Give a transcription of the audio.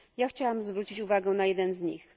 Chciałam zwrócić uwagę na jeden z nich.